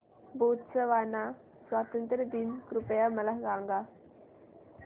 Botswana स्वातंत्र्य दिन कृपया मला सांगा